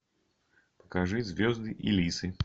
покажи звезды и лисы